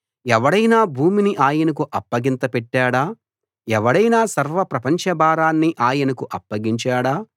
ఎవడైనా భూమిని ఆయనకు అప్పగింత పెట్టాడా ఎవడైనా సర్వప్రపంచ భారాన్ని ఆయనకు అప్పగించాడా